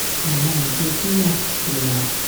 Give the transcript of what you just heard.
àwọn àjọ tó yàtọ̀ síra